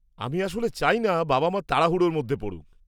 আমি আসলে চাইনা বাবা মা তাড়াহুড়ো্র মধ্যে পড়ুক।